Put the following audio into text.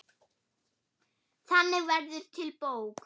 Þannig verður til bók.